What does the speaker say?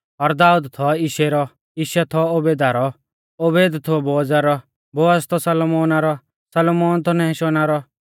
और दाऊद थौ यिशै रौ यिशै थौ ओबेदा रौ ओबेद थौ बोअज़ा रौ बोअज़ थौ सलमोना रौ सलमोन थौ नहशोना रौ